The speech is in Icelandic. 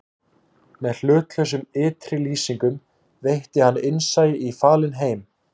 Með hlutlausum ytri lýsingum veitti hann innsæi í falinn heim